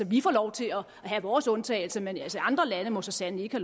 vi får lov til at have vores undtagelse men andre lande må så sandelig ikke